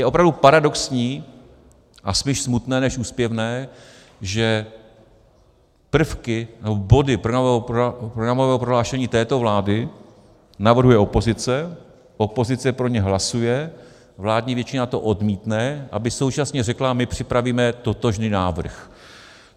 Je opravdu paradoxní a spíš smutné než úsměvné, že prvky nebo body programového prohlášení této vlády navrhuje opozice, opozice pro ně hlasuje, vládní většina to odmítne, aby současně řekla: my připravíme totožný návrh.